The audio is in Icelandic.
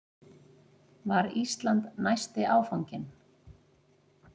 Var Ísland næsti áfanginn?